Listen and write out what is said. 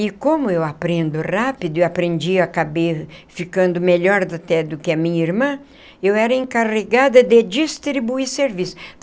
E como eu aprendo rápido, eu aprendi, acabei ficando melhor até do que a minha irmã, eu era encarregada de distribuir serviços.